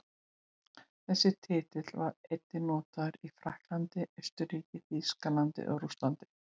Þessi titill var einnig notaður í Frakklandi, Austurríki, Þýskalandi og Rússlandi.